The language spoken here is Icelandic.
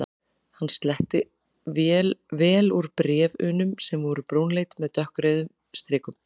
Hann sletti vel úr bréf- unum sem voru brúnleit með dökkrauðum strikum.